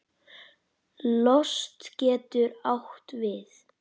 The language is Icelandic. Lost getur átt við